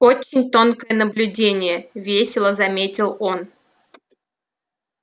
очень тонкое наблюдение весело заметил он